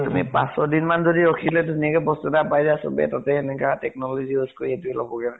তুমি পাঁছ ছয় দিন মান যদি ৰখিলে ধুনীয়াকে বস্তু এটা পাই যায়। চবে তাতে এনেকা technology use কৰি এইটোয়ে লবগে মানে।